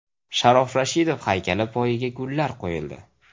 Sharof Rashidov haykali poyiga gullar qo‘yildi.